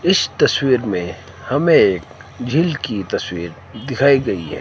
इस तस्वीर में हमें एक झील की तस्वीर दिखाई गई है।